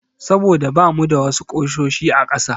Saboda bamu da wasu ƙusoshi a ƙasa.